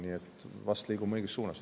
Nii et vast liigume õiges suunas.